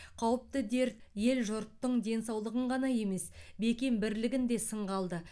қауіпті дерт ел жұрттың денсаулығын ғана емес бекем бірлігін де сынға алды